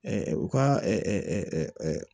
u ka